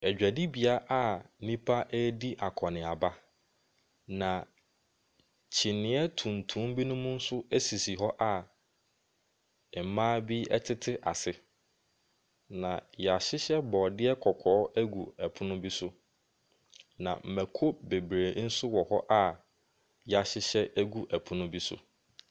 Adwadibea a nipa ɛɛdi akɔniaba. Na kyiniiɛ tuntum bi nso esisi hɔ a mmaa bi ɛte ase na yɛahyehyɛ brɔdeɛ kɔkɔɔ ɛgu ɛpono bi so. Na mɛko bebree nso wɔ ho a yɛahyehyɛ ɛgu ɛpono bi so.